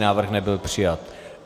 Návrh nebyl přijat.